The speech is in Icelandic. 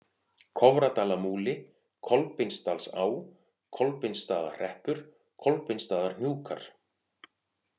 Kofradalamúli, Kolbeinsdalsá, Kolbeinsstaðahreppur, Kolbeinsstaðarhnjúkar